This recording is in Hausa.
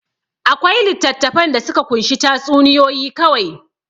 Akwai littattafan da suka kunshi tatsuniyoyi kawai.